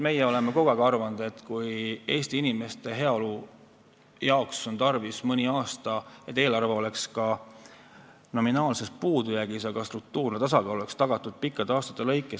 Meie oleme kogu aeg arvanud, et vahel on tarvis Eesti inimeste heaolu nimel, selleks et pikkadeks aastateks oleks tagatud struktuurne tasakaal, ka seda, et eelarve oleks mõni aasta nominaalses puudujäägis.